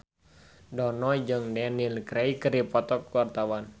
Dono jeung Daniel Craig keur dipoto ku wartawan